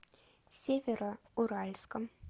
североуральском